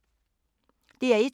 DR1